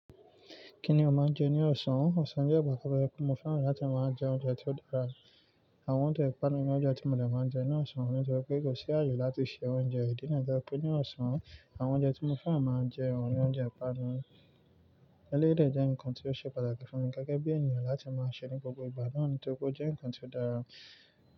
Kí ni o máa ń jẹ ní ọ̀sán? Ọ̀sán jẹ́ ìgbà kan bẹ́ẹ̀ kí mo fẹ́ràn láti máa jẹ oúnjẹ tó dára. Àwọn oúnjẹ ìpanu ni oúnjẹ tí mo dẹ̀ máa ń jẹ ní ọ̀sán nítorí pé kò sí àyè láti se oúnjẹ. Ìdí náà jẹ́ pé ní ọ̀sán, àwọn oúnjẹ tí mo fẹ́ràn máa ń jẹun ni oúnjẹ ìpanu. Elédè jẹ́ nǹkan tí ó ṣe pàtàkì fún mi gẹ́gẹ́ bí ènìyàn láti máa ṣe ní gbogbo ìgbà, torì pé ó jẹ́ nǹkan tí ó dára.